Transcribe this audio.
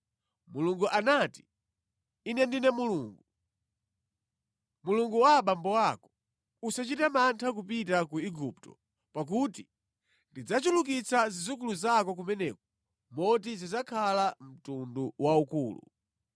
Mulungu anati, “Ine ndine Mulungu. Mulungu wa abambo ako. Usachite mantha kupita ku Igupto, pakuti ndidzachulukitsa zidzukulu zako kumeneko moti zidzakhala mtundu waukulu.